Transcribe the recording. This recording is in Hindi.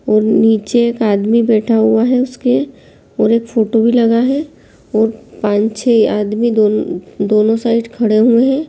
और नीचे एक आदमी बैठा हुआ है उसके और एक फोटो भी लगा है और पाँच छे आदमी दोन दोनों साइड खड़े हुए हैं।